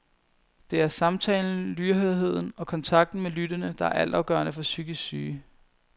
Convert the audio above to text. Det er er samtalen, lydhørheden og kontakten med lyttende, der er altafgørende for psykisk syge.